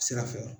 Sira fɛ